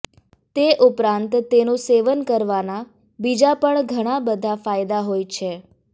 તે ઉપરાંત તેનું સેવન કરવાના બીજા પણ ઘણા બધા ફાયદા હોય છે